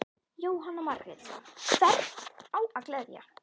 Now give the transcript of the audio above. Jóhanna Margrét: Hvern á að gleðja?